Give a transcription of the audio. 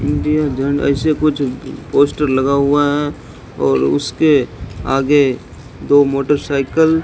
India जन ऐसे कुछ पोस्टर लगा हुआ है और उसके आगे दो मोटरसाइकिल --